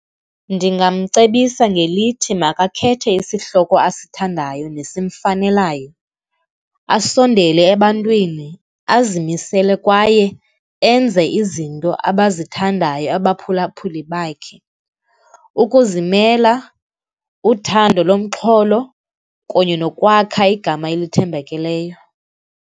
Ndingamcebisa ngelithi makakhethe isihloko asithandayo nesimfanelayo, asondele ebantwini, azimisele kwaye enze izinto abazithandayo abaphulaphuli bakhe. Ukuzimela, uthando lomxholo, kunye nokwakha igama elithembakeleyo.